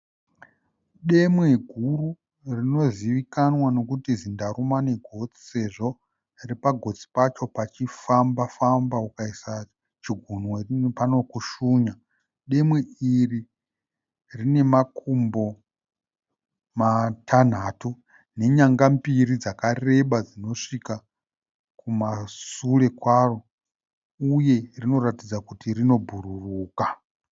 Demwe guru rinozivikanwa nekuti zindarumwanegotsi sezvo pagotsi pacho pachifamba famba ukaisa chigunwe panokushunya. Demwe iri rine makumbo matanhatu nenyanga mbiri dzakareba dzinosvika kumasure kwaro uye rinoratidza kuti rinobhururuka.